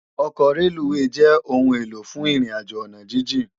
Òkò rélúwé jè óoún éló fún irin àjó àná jijin